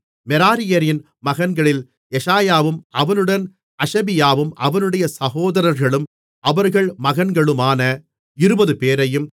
மெராரியரின் மகன்களில் எஷாயாவும் அவனுடன் அஷபியாவும் அவனுடைய சகோதரர்களும் அவர்கள் மகன்களுமான இருபதுபேரையும்